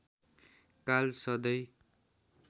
काल सधैँ